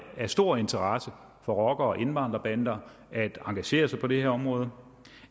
af stor interesse for rocker og indvandrerbander at engagere sig på det her område